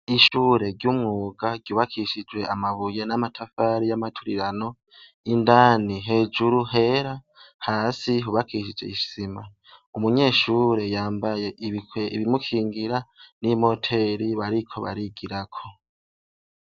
Ishure ry'umwuga ryubakishijwe amabuye n'amatafari yamatwiyano, indani hejuru hera hasi hubakishijwe isima, umunyeshure yambaye ibimukingira n'imoteri bariko barigirako.